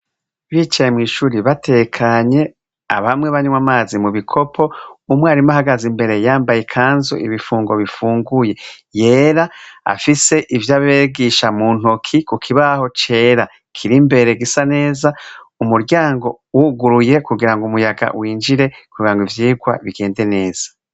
Bicaye mw'ishuri batekanye abamwe banywa amazi mu bikopo umwarimu ahagaze imbere yambaye kanzo ibifungo bifunguye yera afise ivyo abegisha mu ntoki ku kibaho cera kiri imbere gisa neza umuryango wuguruye kugira ngo umuyaga winjire kubirango ivyirwa bikwa nende neza.